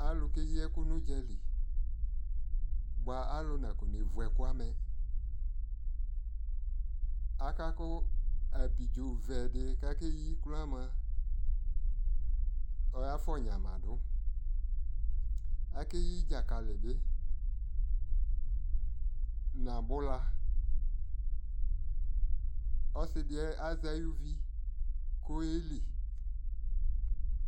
Alu kɛyi ɛku nu dzali Bua alu na kɔ nɛ vu ɛku amɛAka ku abidzo vɛ di akɛyi kroaa mua, ɔya fɔ nyama duAkɛ yi dzakali bi, na bula, ɔsi di azɛ ayʋ vi kɔ yɛ li